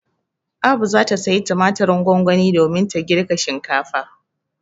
Abu za ta sayi tumatirin gongoni domin ta girka shinkafa.